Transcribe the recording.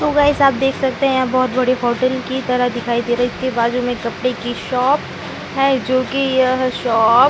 सो guys आप देख सकते है यह बहोत बड़ी होटल के तरह दिखाई दे रहा है इसके बाजु में कपड़े की शॉप है जो की यह शॉप --